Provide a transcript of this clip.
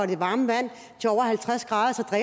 det varme vand til over halvtreds grader